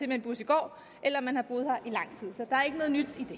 med en bus i går eller man har boet her